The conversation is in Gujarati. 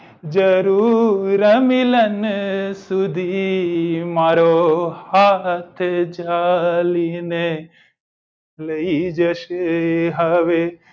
જરૂર ર મિલન સુધી મારો હાથ જાલી ને લઇ જશે હવે